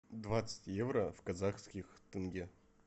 двадцать евро в казахских тенге